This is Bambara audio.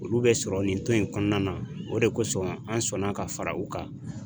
Olu bɛ sɔrɔ nin tɔn in kɔnɔna na o de kosɔn an sɔnna ka fara u kan